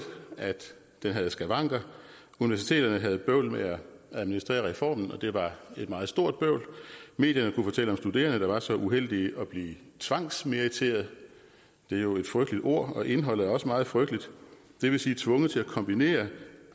at den havde skavanker universiteterne havde bøvl med at administrere reformen og det var et meget stort bøvl medierne kunne fortælle om studerende der var så uheldige at blive tvangsmeriteret det er jo et frygteligt ord og indholdet er også meget frygteligt det vil sige tvunget til at kombinere